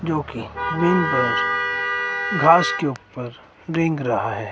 जोकि घास के ऊपर रेंग रहा है।